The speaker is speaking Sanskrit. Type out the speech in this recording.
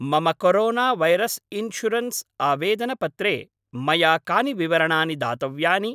मम कोरोना वैरस् इन्शुरन्स् आवेदनपत्रे मया कानि विवरणानि दातव्यानि?